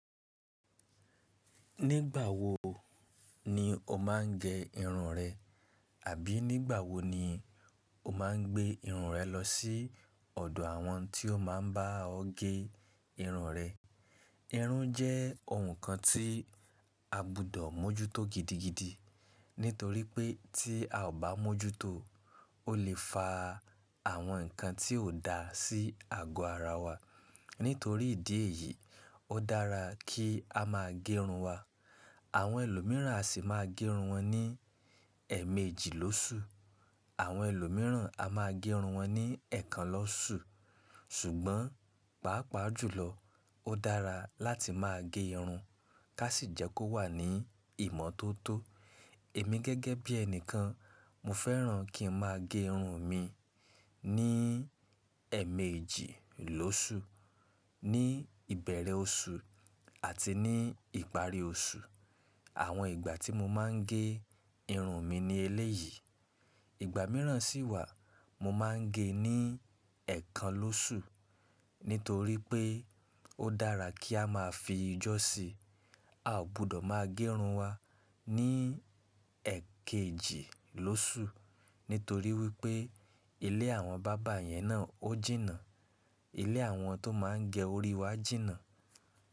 Nígbà wo ni o máa ń gẹ irun rẹ? Àbí nígbà wo ni o máa ń gbé irun rẹ lọ sí ọ̀dọ̀ àwọn tí ó máa ń bá ọ gé irun rẹ? Irun jẹ́ ohun kan tí a gbúdọ̀ mójútó gidigidi nítorí pé tí a ò bá mójútó o lè fa àwọn nǹkan tí ò dá sí àgọ́ ara wa. Nítorí ìdí èyí, ó dára kí a má a gé irun wa. Àwọn ẹlòmíràn a sì máa gé irun wọn ní ẹmẹ́jì lóṣù, àwọn ẹlòmíràn a máa gé irun wọn ní ẹ̀ẹ̀kan lọ́ṣù. Ṣùgbọ́n, pàápàá jùlọ ó dára láti máa gé irun ká sì jẹ́ kó wà ní ìmọ́tótó. Èmi gẹ́gẹ́ bí ẹni kan, mo fẹ́ràn kí n má a gé irun mi ní ẹmẹ́jì lóṣù, ní ìbẹ̀rẹ̀ oṣù àti ní ìparí oṣù. Àwọn ìgbà tí mo máa ń gé irun mi ni eléyìí. Ìgbà míràn sì wà mo máa ń gé ní ẹ̀ẹ̀kan lóṣù, nítorí pé ó dára kí a máa fi jọ́si. A ò gbúdọ̀ máa gé irun wa ní ẹkẹjì lóṣù nítorí wípé ilé àwọn barber yẹn náà ó jìnnà, ilé àwọn tó máa ń gẹ orí wa jìnnà.